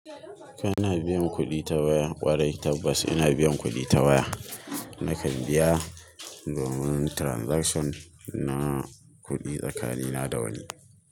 Kaina biyan kuɗi ta waya, ƙwarai tabbas ina biyan kuɗi ta waya. Nakan biya domin transaction na kuɗi tsakanina da wani.